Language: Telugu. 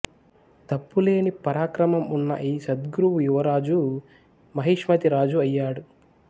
తప్పులేని పరాక్రమం ఉన్న ఈ సద్గురువు యువరాజు మహిష్మతి రాజు అయ్యాడు